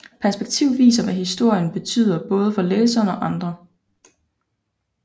Perspektiv viser hvad historien betyder både for læseren og andre